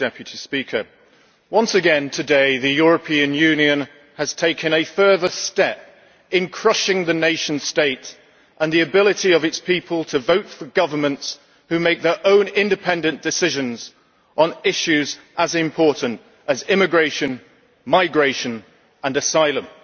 Mister President, once again today the European Union has taken a further step in crushing the nation state and the ability of its people to vote for governments who make their own independent decisions on issues as important as immigration, migration and asylum.